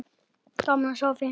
Gaman að sjá þig!